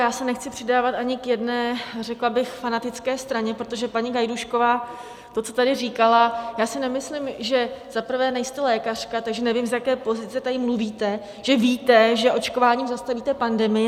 Já se nechci přidávat ani k jedné, řekla bych, fanatické straně, protože paní Gajdůšková, to, co tady říkala, já si nemyslím, že - za prvé nejste lékařka, takže nevím, z jaké pozice tady mluvíte, že víte, že očkováním zastavíte pandemii.